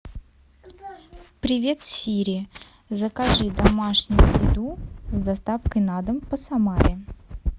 привет сири закажи домашнюю еду с доставкой на дом по самаре